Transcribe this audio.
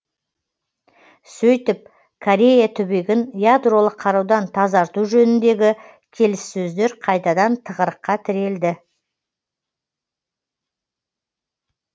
сөйтіп корея түбегін ядролық қарудан тазарту жөніндегі келіссөздер қайтадан тығырыққа тірелді